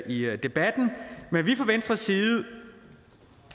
i debatten men vi fra venstres side